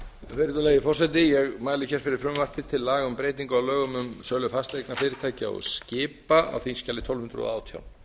virðulegi forseti ég mæli fyrir frumvarpi um breytingu á lögum um sölu fasteigna fyrirtækja og skipa á þingskjali tólf hundruð og átján